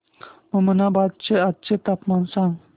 ममनाबाद चे आजचे तापमान सांग